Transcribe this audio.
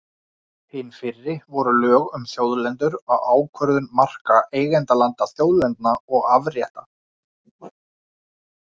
Hin fyrri voru lög um þjóðlendur og ákvörðun marka eignarlanda, þjóðlendna og afrétta.